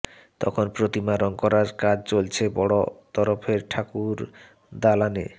তখন প্রতিমা রঙ করার কাজ চলছে বড় তরফের ঠাকুর দালানে